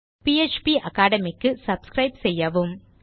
பாப்பகேட்மி க்கு சப்ஸ்கிரைப் செய்யவும்